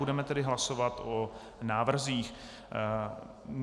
Budeme tedy hlasovat o návrzích.